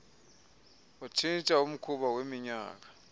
watshintsha umkhuba weminyaka